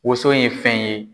Wonso ye fɛn ye.